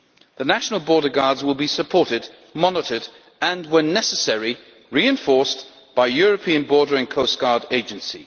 The national border guards will be supported, monitored and when necessary reinforced by a European Border and Coast Guard Agency.